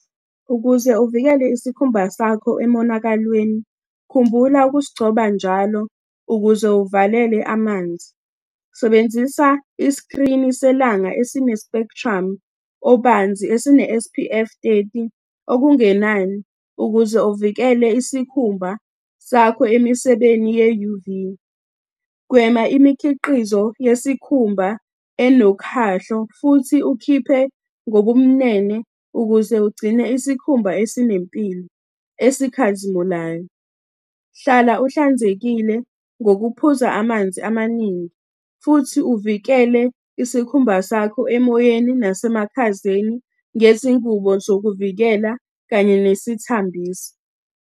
Ukuze uvikele isikhumba sakho emonakalweni, khumbula ukusigcoba njalo ukuze uvalele amanzi. Sebenzisa iskrini selanga esine-spectrum obanzi, esine-S_P_F thirty, okungenani, ukuze uvikele isikhumba sakho emisebeni ye-U_V. Gwema imikhiqizo yesikhumba enokhahlo futhi ukhiphe ngobumnene ukuze ugcine isikhumba esinempilo, esikhazimulayo. Hlala uhlanzekile ngokuphuza amanzi amaningi, futhi uvikele isikhumba sakho emoyeni nasemakhazeni ngezingubo zokuvikela, kanye nesithambisi.